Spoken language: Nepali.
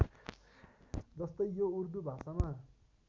जस्तै यो उर्दु भाषामा